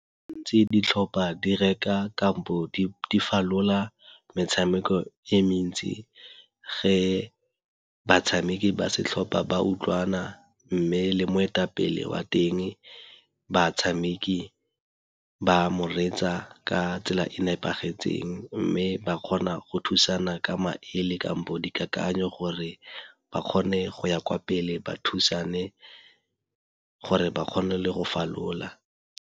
Gantsi di tlhopa di reka kampo di falola metshameko e mentsi ge batshameki ba setlhopa ba utlwana mme le moetapele wa teng, batshameki ba mo reetsa ka tsela e nepagetseng. Mme ba kgona go thusana ka maele kampo di kakanyo gore ba kgone go ya kwa pele ba thusane gore ba kgone le go falola.